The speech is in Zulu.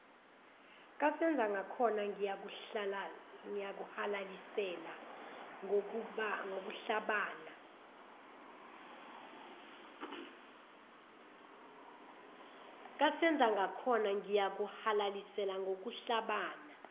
kasenzangakhona ngiyakuhalalisela ngokuhlabana